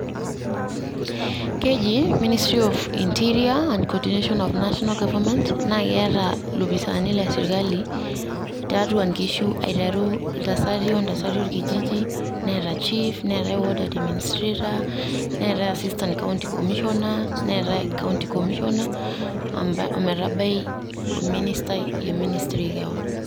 Keji ministry of interior and cordination of national government naa keata iloopisani le sirkali tiatua nkishu aiteru ilntasati ontasati olkijiji, neeta chief, neetae ward admnistrator ,neetae assistant county commissioner ,neetae county comissioner ometabai omnistai le ministry kewon